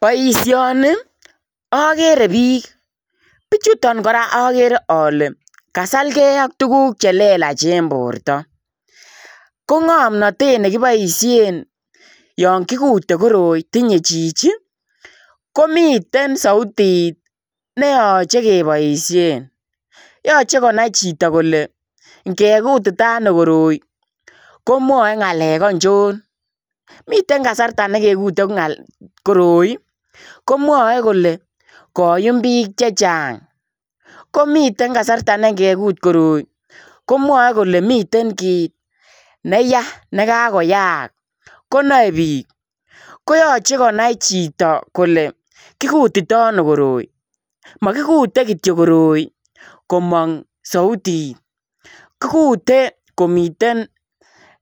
Boisioni agere biik bichutoo kora agere ale kasalgei ak tuguuk che lelaach en borto ko ngomnatet nekibaisheen Yoon kigutee koroi tinye chichi komiteen sautit ne yachei kebaisheen yachei konai chitoo kole ingekutitaano koroi komwae ngalek achoon miten kasartaa nekekute koroi komwae kole koyuum biik chechaang komiteen kasarta ne ngekuut koroi komwae kole komii kiit nekaa koyaak konai biik koyachei konai chitoo kole kigutitano koroi magikutee kityoi koroi komaang sautit kigutee komaang